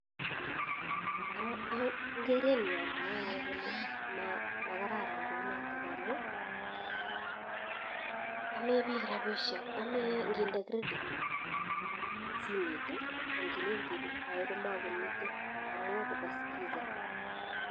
Ingerenyun amwoe ane ole makaran kouniton amun amen bik rabishek emee inginde kredit simet ii indile kole ibirte ko mokimiten amun kaba skiza.